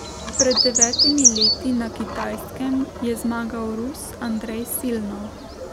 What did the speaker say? Pred devetimi leti na Kitajskem je zmagal Rus Andrej Silnov.